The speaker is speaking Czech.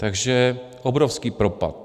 Takže obrovský propad.